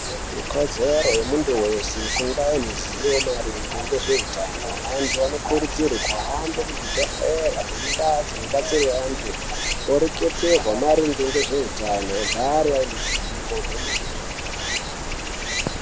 Ikodzero yemuntu weshe kunga aine ruzivo maringe ngezveutano antu anokurudzirwe kuhambe muzvibhehlera nemundau dzinobatsirwa anhu, oreketerwa maringe nezveutano vagare vaine ruzivo rwemene.